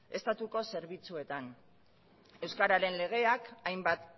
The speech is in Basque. estatuko zerbitzuetan euskararen legeak hainbat